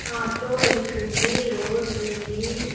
Auto వెళ్తుంది road ఉంది .